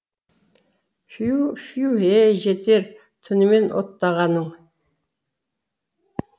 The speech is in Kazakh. фью фью әй жетер түнімен оттағаның